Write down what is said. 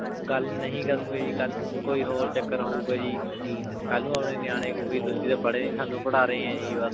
ਗਲ ਨਹੀ ਕਰੁਣ ਗੇ ਜੀ ਕਲ ਨੂ ਕੋਈ ਓਰ ਚਾਕਰ ਹੂ ਗਾ ਜੀ ਕਲ ਨੂ ਆਪੇ ਨਿਯਾਨੀ ਕਹੁ ਗੇ ਜੀ ਤੁਸੀਂ ਤਾਂ ਪਰ੍ਹੇ ਨਾਈ ਸਾਨੂ ਪਢ਼ਾ ਰਹੀ ਆਂ ਜੀ